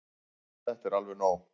Þetta er alveg nóg!